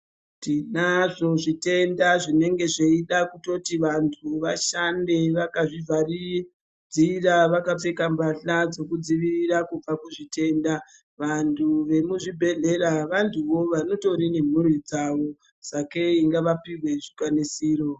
Tinazvo zvitenda zvinenge zvichida kuti vantu vashande vakazvivharirira vakapfeka mbahla dzekudzivirira kubva kuzvitenda vantu vemuzvibhedhlera vantuwo vatoriwo nemburi dzawo sakei ngavapihwe zvikwanisiro.